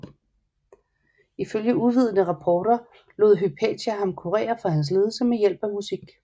Ifølge uvidende rapporter lod Hypatia ham kurere for hans lidelse med hjælp af musik